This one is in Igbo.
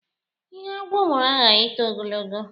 Ihe agwọ mụrụ aghaghị ito ogologo.